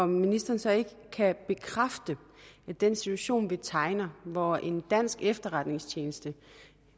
ministeren så ikke bekræfte at den situation vi tegner hvor en dansk efterretningstjeneste